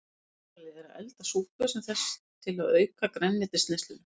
Tilvalið er að elda súpu sem þessa til að auka grænmetisneysluna.